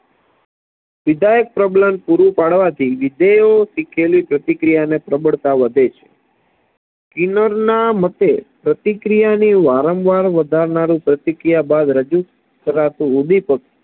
વિધાયક પ્રબલન પૂરું પાડવાથી વિધેયે શીખેલી પ્રતિક્રિયાની પ્રબળતા વધે છે સ્કિનરના મતે પ્રતિક્રિયાની વારંવાર વધારનારુ પ્રતિક્રિયા બાદ રજુ કરાતું ઉદ્દીપક